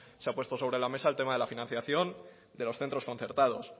se ha puesto sobre la mesa el tema de la financiación de los centros concertados